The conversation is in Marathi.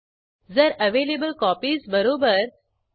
नंतर उपलब्ध प्रती ह्या एकूण प्रतींपेक्षा जास्त आहेत का हे तपासू